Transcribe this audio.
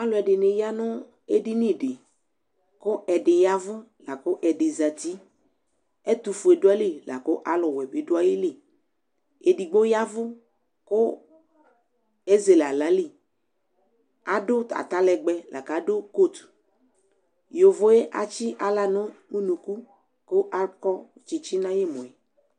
ɑluedini ya nu ɛdinidi ku ɛdiyavu ku ɛdizati ɛtufue duayili ɔluwebidueyili ɛdigbo yɑvu ku ɛzele hlali ɑdu ɑtalegbe dukot yovoe ɑtsi ɑhla nunuku ku ɑkɔtsitsi nu ɑyemue